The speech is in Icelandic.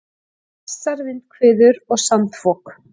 Hvassar vindhviður og sandfok